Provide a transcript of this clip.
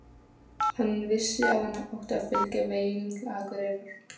Hann vissi að hann átti að fylgja veginum til Akureyrar.